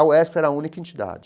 A UESP era a única entidade.